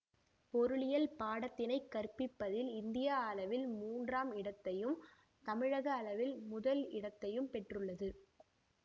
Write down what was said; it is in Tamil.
பொருளியல் பாடத்தினைக் கற்பிப்பதில் இந்திய அளவில் மூன்றாம் இடத்தையும் தமிழக அளவில் முதல் இடத்தையும் பெற்றுள்ளது